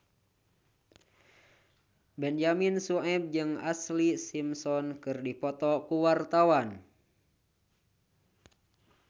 Benyamin Sueb jeung Ashlee Simpson keur dipoto ku wartawan